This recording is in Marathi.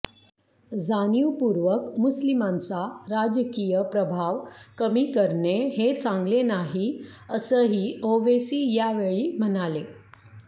जाणीवपूर्वक मुस्लिमांचा राजकीय प्रभाव कमी करणे हे चांगले नाही असंही ओवेसी यावेळी म्हणाले